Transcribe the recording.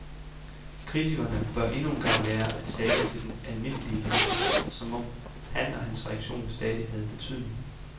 Kritikerne bør endnu en gang lære at tale til den almindelige læser, som om han og hans reaktion stadig havde betydning.